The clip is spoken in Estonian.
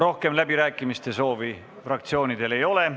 Rohkem läbirääkimiste soove fraktsioonidel ei ole.